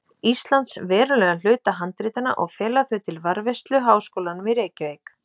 Íslands verulegum hluta handritanna og fela þau til varðveislu Háskólanum í Reykjavík.